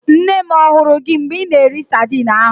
Nne m ahụrụ gị mgbe ị na-eri sadin ahụ?